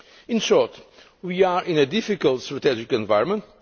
In short we are in a difficult strategic environment.